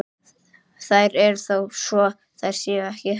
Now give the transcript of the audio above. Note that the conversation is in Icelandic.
Þær eru þó svo þær séu ekki.